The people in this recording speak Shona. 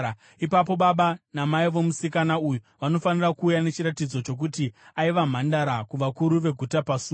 ipapo baba namai vomusikana uyu vanofanira kuuya nechiratidzo chokuti aiva mhandara kuvakuru veguta pasuo.